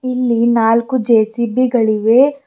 ಇಲ್ಲಿ ನಾಲ್ಕು ಜೆ_ಸಿ_ಬಿ ಗಳು ಇವೆ.